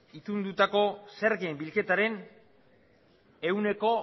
itundutako zergen bilketaren ehuneko